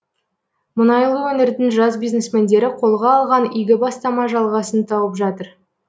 мұнайлы өңірдің жас бизнесмендері қолға алған игі бастама жалғасын тауып жатыр